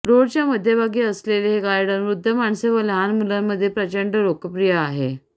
रोडच्या मध्यभागी असलेले हे गार्डन वृध्द माणसे व लहान मुलांमध्ये प्रचंड लोकप्रिय आहे